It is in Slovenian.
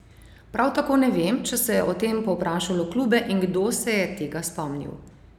Prav tako ne vem, če se je o tem povprašalo klube in kdo se je tega spomnil?